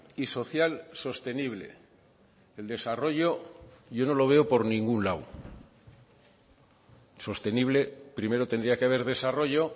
y social sostenible el desarrollo yo no lo veo por ningún lado sostenible primero tendría que haber desarrollo